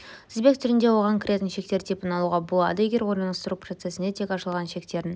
тізбек түрінде оған кіретін шектер типін алуға болады егер орналастыру процесінде тек ашылған шектерін